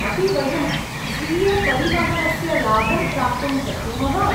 अपि वयं स्वीयपरिवहनस्य लाभं प्राप्तुं शक्नुमः ?